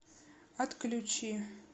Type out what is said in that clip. отключи